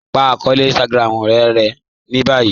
Pa akọọlẹ̀ Instagram e rẹ̀ ni báyì